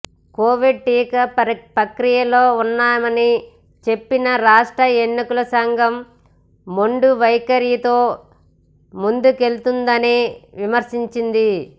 Covid టీకా ప్రక్రియలో ఉన్నామని చెప్పినా రాష్ట్ర ఎన్నికల సంఘం మొండివైఖరితో ముందుకెళ్తోందని విమర్శించింది